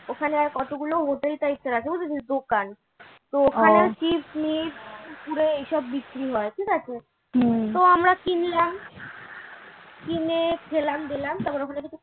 ওখানে কতগুলো hotel types এর আছে বুঝেছিস দোকান তো ওখানে chips মিপস কুরকুরে এইসব বিক্রি হয় ঠিক আছে তো আমরা কিনলাম কিনে খেলাম দেলাম